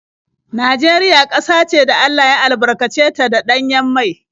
Najeriya ƙasa ce da Allah ya albarkace ta da ɗanyen mai.